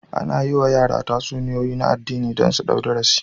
Ana yi wa yara tatsuniyoyi na addini don su ɗau darasi